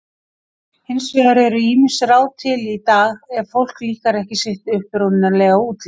Hins vegar eru ýmis ráð til í dag ef fólki líkar ekki sitt upprunalega útlit.